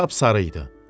Sap sarı idi.